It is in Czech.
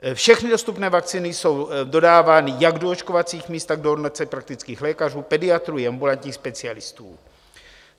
Všechny dostupné vakcíny jsou dodávány jak do očkovacích míst, tak do ordinací praktických lékařů, pediatrů i ambulantních specialistů.